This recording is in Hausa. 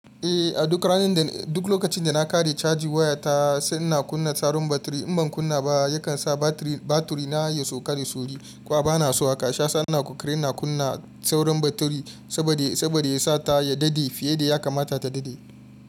Eh, a duk lokacin da na ƙare caji waya ta sai ina kunna tsarin batiri. In ban kunna ba yakan sa batiri na ya sauka da sauri. Kwa bana so haka. Sha sanna kukre na kunna saurin batiri saboda ya sa ta ya daɗe fiye da ya kamata ta daɗe.